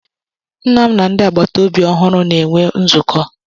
Nna m na ndị agbata obi ọhụrụ na-enwe nzukọ